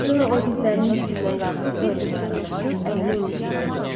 Sonra o dizlərinin üstündən qalxıb Dorianə yaxınlaşıb əlini onun çiyninə qoydu.